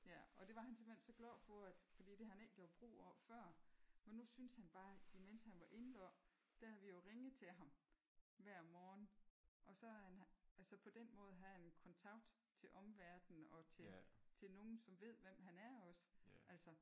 Ja og det var han simpelthen så glad for at fordi det har han ikke gjort brug af før. Men nu syntes han bare imens han var indlagt der har vi jo ringet til ham hver morgen og så har han altså på den måde havde han kontakt til omverden og til til nogen som ved hvem han er også altså